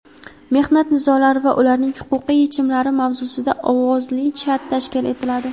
"Mehnat nizolari va ularning huquqiy yechimlari" mavzusida ovozli chat tashkil etiladi.